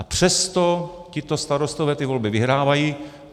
A přesto tito starostové ty volby vyhrávají.